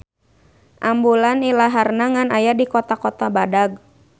Ambulan ilaharna ngan aya di kota-kota badag.